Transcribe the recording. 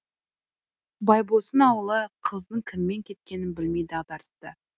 байбосын ауылы қыздың кіммен кеткенін білмей дағдарысты